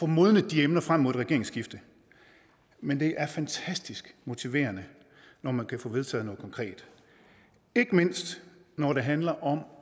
modnet de emner frem mod et regeringsskifte men det er fantastisk motiverende når man kan få vedtaget noget konkret ikke mindst når det handler om